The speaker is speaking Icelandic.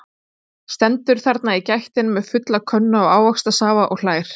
Stendur þarna í gættinni með fulla könnu af ávaxtasafa og hlær.